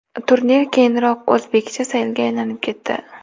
Turnir keyinroq o‘zbekcha saylga aylanib etdi.